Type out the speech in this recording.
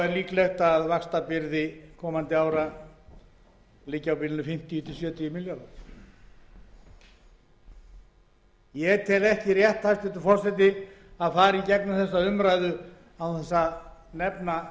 líklegt að vaxtabyrði komandi ára liggi á bilinu fimmtíu til sjötíu milljarðar ég tel ekki rétt að fara í gegnum þessa umræðu án þess að nefna neinar tölur